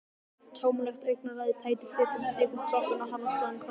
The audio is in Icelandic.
Tómlegt augnaráðið, tættur svipurinn- kvikur kroppurinn á harðaspani framhjá linsunni.